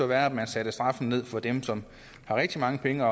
være at vi satte straffen ned for dem som har rigtig mange penge